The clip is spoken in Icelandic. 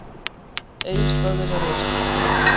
Egilsstaðir eru á Austurlandi.